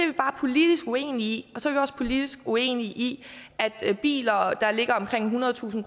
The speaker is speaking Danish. vi bare politisk uenige i så er vi også politisk uenige i at biler der ligger omkring ethundredetusind